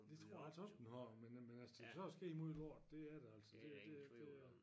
Det tror jeg altså også den har men at men at der så er sket alt muligt lort det er der altså det det det